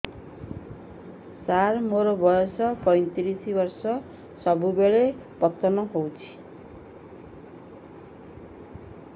ସାର ମୋର ବୟସ ପୈତିରିଶ ବର୍ଷ ସବୁବେଳେ ପତନ ହେଉଛି